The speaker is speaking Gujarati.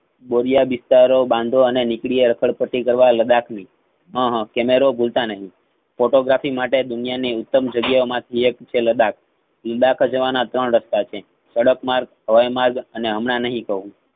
બોરિયા બિસ્તરા ઓ બાંધો અને નીકળી રખડપટ્ટી કરવા લદાખની. હ~હ camera ભૂલતા નહિ photographi માટે આ દુનિયાની ઉત્તમ જગ્યાઓ માંથી એક છે લદ્દાખ. લદ્દાખ જવાના ત્રણ રસ્તા છે. સડકમાર્ગ, હવાઇમાર્ગ, અને હમણાં નહિ કાવ હું